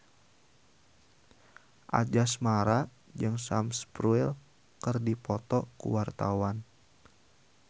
Anjasmara jeung Sam Spruell keur dipoto ku wartawan